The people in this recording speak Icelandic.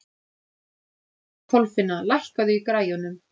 Kolfinna, lækkaðu í græjunum.